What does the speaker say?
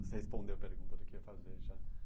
Você respondeu a pergunta do que ia fazer, já.